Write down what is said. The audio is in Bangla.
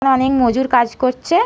এখানে অনেক মজুর কাজ করছে-এ।